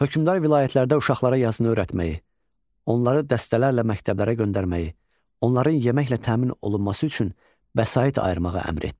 Hökmdar vilayətlərdə uşaqlara yazını öyrətməyi, onları dəstələrlə məktəblərə göndərməyi, onların yeməklə təmin olunması üçün vəsait ayırmağı əmr etdi.